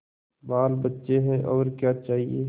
बालबच्चे हैं और क्या चाहिए